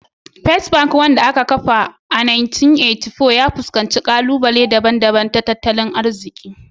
First Bank, wanda aka kafa a shekarar 1894, ya fuskanci ƙalubale daban-daban na tattalin arziki